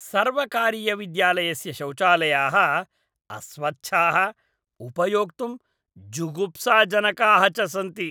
सर्वकारीयविद्यालयस्य शौचालयाः अस्वच्छाः, उपयोक्तुं जुगुप्साजनकाः च सन्ति।